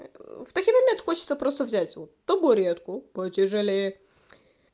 в такие моменты хочется просто взять вот табуретку потяжелее